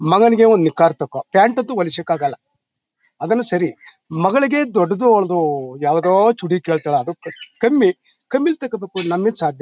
ಮಗನ್ಗೆ ಒಂದು ನಿಕ್ಕರ್ ತಕೋ ಪ್ಯಾಂಟ್ ಅಂತೂ ಹೊಲಿಸಲಿಕ್ಕಾಗಲ್ಲ. ಅದೇನೋ ಸರಿ ಮಗಳ್ಗೆ ದೊಡ್ದು ಅವ್ಳ್ದು ಯಾವುದೊ ಚೂಡಿ ಕೇಳ್ತಾಳೆ ಅದು ಕಮ್ಮಿ ಕಮ್ಮಿಲ್ ತಕಬೇಕು ನಮ್ಮಿಂದ್ ಸಾಧ್ಯ ಇಲ್ಲ--